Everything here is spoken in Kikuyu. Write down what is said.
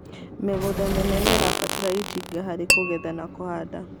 Mĩgũnda mĩnene nĩrabatara itinga harĩkũgetha na kuhanda